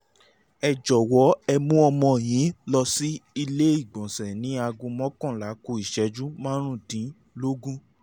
ẹ jọ̀wọ́ ẹ mú ọmọ yín lọ sí ilé-ìgbọ̀nsẹ̀ ní aago mọ́kànlá ku ìṣẹ́jú márùndínlógún